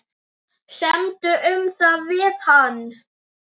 Semdu um það við hann.